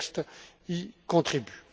Ce texte y contribue.